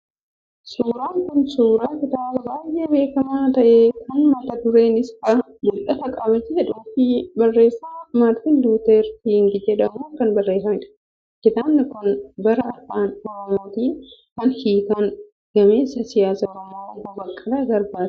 Suuraan kun suuraa kitaaba baay'ee beekamaa ta'e kan mata dureen isaa,'Mul'atan Qaba' jedhuu fi barreessaa Maartiin Luuter King jedhamuun kan barreeffamedha. Kitaaba kana gara afaan Oromootti kan hiikan gameessa siyaasaa Oromoo obbo Baqqalaa Garbaa ti.